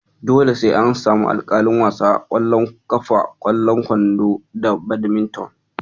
Dole sai an samu alƙalin wasa a ƙwallon ƙafa, ƙwallon kwando, da Badminton.